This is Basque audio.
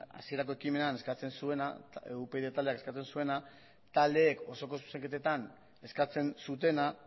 hasierako ekimenean eskatzen zuena eta upyd taldeak eskatzen zuena taldeek osoko zuzenketetan eskatzen zutena